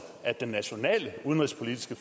at den nationale udenrigspolitiske